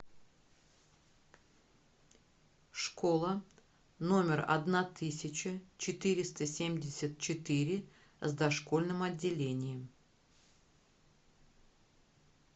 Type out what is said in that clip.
школа номер одна тысяча четыреста семьдесят четыре с дошкольным отделением